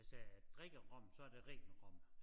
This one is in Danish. Hvis jeg drikker rom så det ren rom